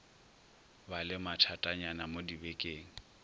ba le mathatanyana mo dibekeng